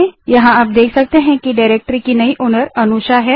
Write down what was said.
यहाँ हम देख सकते हैं कि अनुषा डाइरेक्टरी की नई ओनर है